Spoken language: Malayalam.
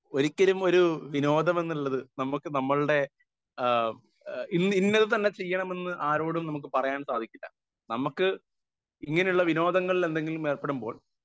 സ്പീക്കർ 1 ഒരിക്കലും ഒരു വിനോദം എന്നുള്ളത് നമ്മക്ക് നമ്മളുടെ ആ ഇന്ന് ഇന്നത് തന്നെ ചെയ്യണം എന്ന് ആരോടും നമുക്ക് പറയാൻ സാധിക്കില്ല നമുക്ക് ഇങ്ങനെ ഉള്ള വിനോദങ്ങളിൽ എന്തെങ്കിലും ഏർപ്പെടുമ്പോൾ